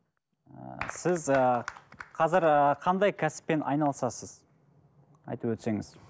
ы сіз ы қазір ы қандай кәсіппен айналысасыз айтып өтсеңіз